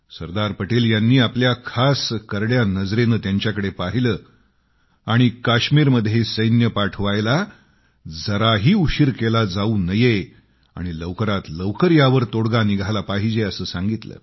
सरदार पटेल यांनी आपल्या खास करड्या नजरेने त्यांच्याकडे पाहिलं आणि काश्मीरमध्ये सैन्य पाठवायला जराही उशीर केला जाऊ नये आणि लवकरात लवकर यावर तोडगा निघाला पाहिजे असं सांगितलं